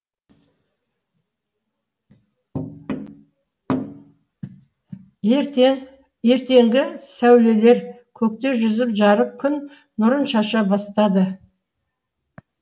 ертеңгі сәулелер көкте жүзіп жарық күн нұрын шаша бастады